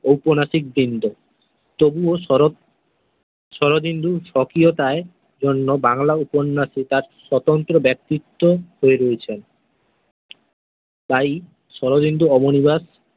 উপন্যাসিকবৃন্দ। তবুও শরৎ শরদিন্দুর সক্রিয়তায় জন্য বাংলা উপন্যাসে তার সতন্ত্র ব্যাক্তিত হয়ে রয়েছেন। তাই শরদিন্দু অবনিবাস।